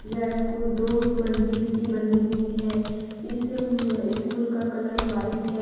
यह स्कूल दो मंजिल की बनी हुई है इस स्कूल का कलर व्हाइट है।